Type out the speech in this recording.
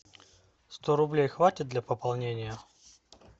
сто рублей хватит для пополнения